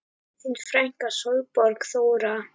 Þín frænka Sólborg Þóra.